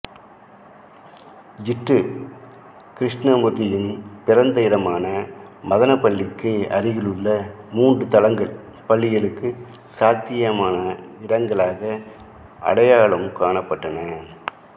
ஜிட்டு கிருஷ்ணமூர்த்தியின் பிறந்த இடமான மதனப்பள்ளிக்கு அருகிலுள்ள மூன்று தளங்கள் பள்ளிக்கு சாத்தியமான இடங்களாக அடையாளம் காணப்பட்டன